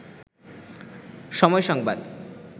সময় সংবাদ